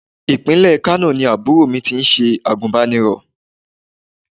Ìpínlẹ̀ Kano ni àbúrò mi ti ṣe àgùnbánirọ̀.